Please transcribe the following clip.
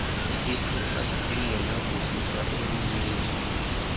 ipropati engenakususwa emnini